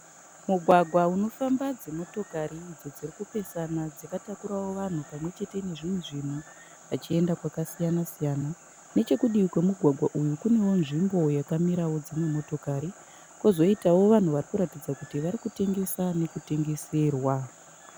Mugwagwa unofamba dzimotokari idzo dziri kupesana dzakatakurawo vanhu pamwechete nezvimwe zvinhu , vachienda kwakasiyana siyana. Nechekudivi kwemugwagwa uyu kunewo nzvimbo yakamirawo dzimwe motokari. Kozoitawo vanhu varikuratidza kuti varikutengesa nekutengeserwa.